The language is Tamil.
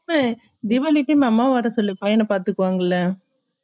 ஹே தீவாளிக்கு அம்மா வரச்சொலிக்கோ பையன பத்துப்பாங்கள ?